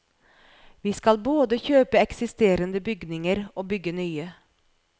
Vi skal både kjøpe eksisterende bygninger og bygge nye.